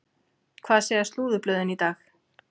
Hvað segja slúðurblöðin í dag?